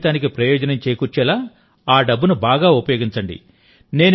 మీ జీవితానికి ప్రయోజనం చేకూర్చేలా ఆ డబ్బును బాగా ఉపయోగించండి